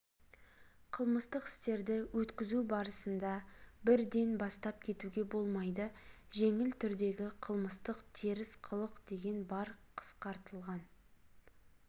қылмыстық істерді өткізу барысында бірден бастап кетуге болмайды жеңіл түрдегі қылсмыстық теріс қылық деген бар қысқартылған